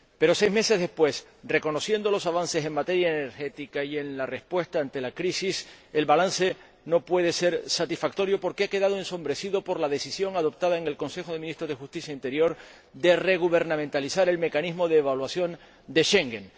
Pero seis meses después, reconociendo los avances en materia energética y en la respuesta ante la crisis, el balance no puede ser satisfactorio porque ha quedado ensombrecido por la decisión adoptada en el Consejo de Ministros de Justicia e Interior de regubernamentalizar el mecanismo de evaluación de Schengen.